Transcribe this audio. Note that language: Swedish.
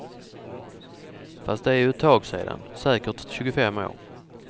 Fast det är ju ett tag sedan, säkert tjugofem år.